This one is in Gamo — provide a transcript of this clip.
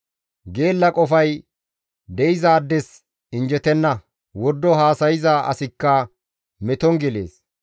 Geella qofay de7izaades injjetenna; wordo haasayza asikka meton gelees.